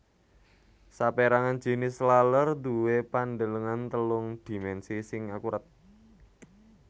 Sapérangan jinis laler duwé pandelengan telung dhimènsi sing akurat